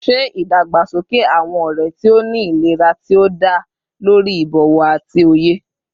Ṣe idagbasoke awọn ọrẹ ti o ni ilera ti o da lori ibowo ati oye